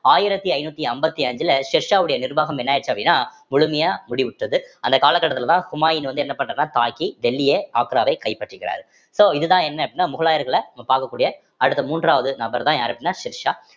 ஆயிரத்தி ஐந்நூத்தி ஐம்பத்தி அஞ்சுல ஷெர்ஷாவுடைய நிர்வாகம் என்ன ஆயிருச்சு அப்படின்னா முழுமையா மூடிவிட்டது அந்த காலகட்டத்திலதான் ஹுமாயூன் வந்து என்ன பண்றாருன்னா தாக்கி டெல்லிய ஆக்ராவை கைப்பற்றிக்கிறாரு so இதுதான் என்ன அப்படின்னா முகலாயர்களை நம்ம பார்க்கக்கூடிய அடுத்த மூன்றாவது நபர்தான் யாரு அப்படின்னா ஷெர்ஷா